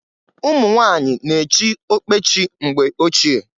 Umunwanyị na echị okpechi mgbe ochie.